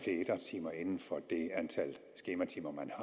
antal skematimer man